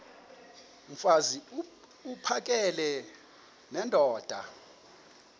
mfaz uphakele nendoda